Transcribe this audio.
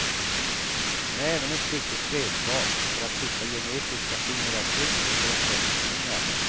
Den är även ett viktigt redskap för att hitta genetiska fingeravtryck från brottslingar.